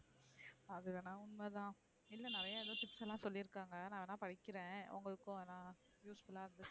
அது வேணா உண்மைதான் இல்ல நிறைய tips எல்லாம் சொல்லி இருக்காங்க நான் வேணா படிக்கிறேன் உங்களுக்கும் usefull இருக்கும்.